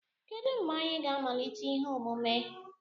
Kedu mgbe anyị ga-amalite ihe omume?